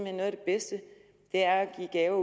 at noget af det bedste er at give gaver